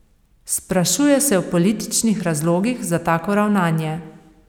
Sprašuje se o političnih razlogih za tako ravnanje.